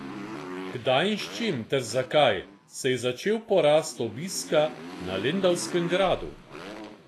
Kdaj in s čim ter zakaj se je začel porast obiska na lendavskem gradu?